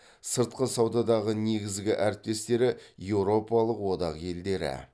сыртқы саудадағы негізгі әріптестері еуропалық одақ елдері